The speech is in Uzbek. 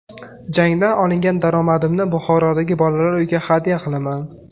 Jangdan olingan daromadimni Buxorodagi bolalar uyiga hadya qilaman.